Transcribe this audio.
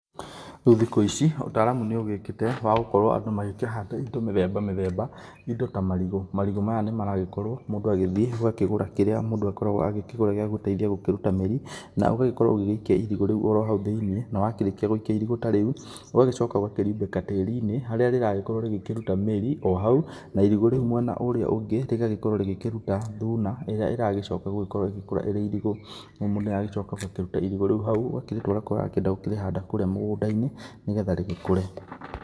Rĩu thikũ ici ũtaaramu nĩ ũgĩũkĩte wa gũkorwo andũ magĩkĩhanda indo mĩthemba mĩthemba indo ta marigũ. Marigũ maya nĩ maragĩkorwo mũndũ agĩthiĩ ũgakĩgũra kĩrĩa mũndũ agĩkoragwo akĩgũra gĩa gũteithi gũkĩruta mĩri. Na ũgakorwo ũgĩgĩikia irigũ rĩu hau thĩinĩ, na wakĩrĩkia gũikia irigũ tarĩu ũgagĩcoka ũgakĩriumbĩka tiri-inĩ harĩa rĩragĩko rĩkĩruta mĩri o hau. Na irigũ rĩu mwena ũria ũngĩ rĩgagĩkorwo rĩgĩkĩruta thuna ĩrĩa ĩragĩcoka gũgĩkũra ĩrĩ irigũ. Mũndũ nĩ aragĩcoka agakĩruta irigũ rĩu hau agakĩrĩtwara kũrĩa arakĩenda gũkĩrĩhanda kũrĩa mũgũnda-inĩ nĩ getha rĩgĩkũre.